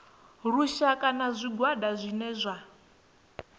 lushaka na zwigwada zwine zwa